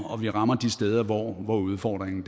og vi rammer de steder hvor udfordringen